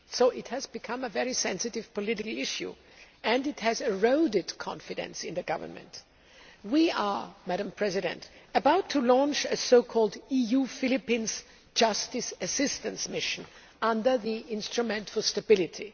It has become a very sensitive political issue and it has eroded confidence in the Government. We are about to launch an EU Philippines Justice Assistance Mission' under the Instrument for Stability.